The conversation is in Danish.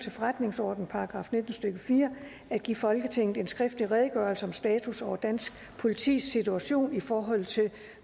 til forretningsordenens § nitten stykke fire at give folketinget en skriftlig redegørelse om status over dansk politis situation i forhold til